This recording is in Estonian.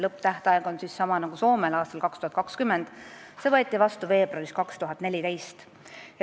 Lõpptähtaeg on sama nagu Soomel – aasta 2020 – ja see võeti vastu veebruaris 2014.